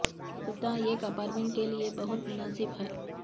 یہ کتا ایک اپارٹمنٹ کے لئے بہت مناسب ہے